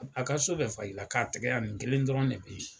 A ka so bɛɛ fa i la, ka tɛgɛ yan nin kelen dɔrɔn de be yen.